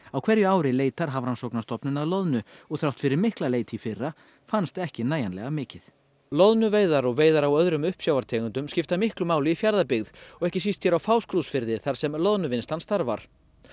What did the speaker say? á hverju ári leitar Hafrannsóknastofnun að loðnu og þrátt fyrir mikla leit í fyrra fannst ekki nægilega mikið loðnuveiðar og veiðar á öðrum uppsjávartegundum skipta miklu máli í Fjarðabyggð og ekki síst hér á Fáskrúðsfirði þar sem loðnuvinnslan starfar